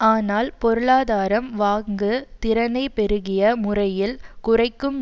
ஆனால் பொருளாதாரம் வாங்கு திறனை பெருகிய முறையில் குறைக்கும்